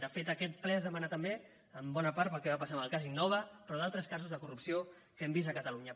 de fet aquest ple es demana també en bona part pel que va passar amb el cas innova però d’altres casos de corrupció que hem vist a catalunya